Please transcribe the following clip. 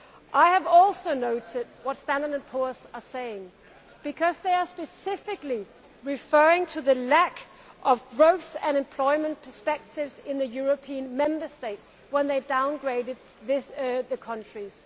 I have also noted what Standard and Poor's are saying, because they were specifically referring to the lack of growth and employment perspectives in the European Member States when they downgraded the countries.